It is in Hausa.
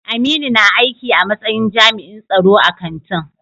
Aminu na aiki a matsayin jami'in tsaro a kantin.